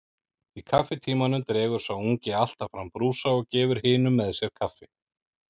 Í kaffitímanum dregur sá ungi alltaf fram brúsa og gefur hinum með sér kaffi.